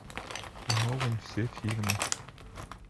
нолан все фильмы